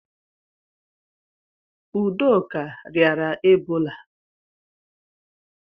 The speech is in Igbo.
Udoka riara Ebola